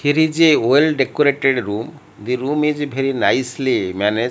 here is a well decorated room the room is bery nicely manage.